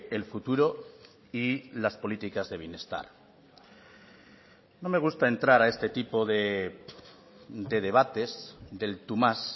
el futuro y las políticas de bienestar no me gusta entrar a este tipo de debates del tú más